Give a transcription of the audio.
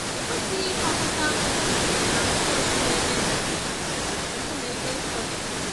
E kwesịghị ịkwakọta nkụ na nso nso ebe nkume dị nsọ dị